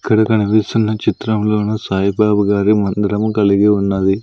ఇక్కడ కనిపిస్తున్న చిత్రంలోను సాయిబాబా గారి మందిరము కలిగి ఉన్నది.